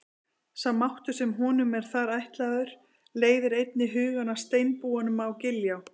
Sá máttur sem honum er þar ætlaður leiðir einnig hugann að steinbúanum á Giljá.